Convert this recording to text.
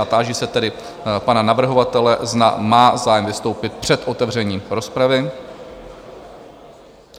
A táži se tedy pana navrhovatele, zda má zájem vystoupit před otevřením rozpravy?